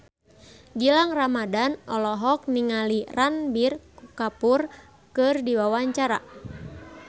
Gilang Ramadan olohok ningali Ranbir Kapoor keur diwawancara